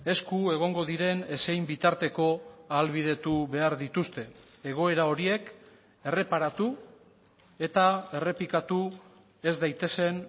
esku egongo diren ezein bitarteko ahalbidetu behar dituzte egoera horiek erreparatu eta errepikatu ez daitezen